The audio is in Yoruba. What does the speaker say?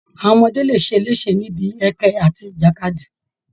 Àwọn ọmọdé lè ṣeléṣe níbi ẹkẹ àti ìjàkadì